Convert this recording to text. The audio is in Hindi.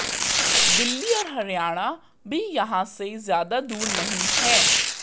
दिल्ली और हरियाणा भी यहां से ज्यादा दूर नहीं है